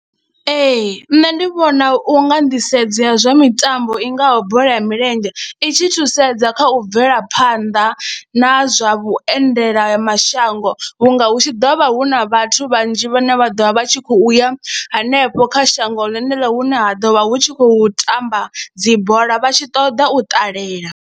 Ee, nṋe ndi vhona u nga nḓisedzo ya zwa mitambo i ngaho bola ya milenzhe i tshi thusedza kha u bvela phanḓa na zwa vhuendela mashango, vhunga hu tshi ḓo vha hu na vhathu vhanzhi vhane vha ḓovha vha tshi khou ya hanefho kha shango ḽeneḽo hune ha ḓovha hu tshi khou tamba dzi bola vha tshi ṱoḓa u ṱalela.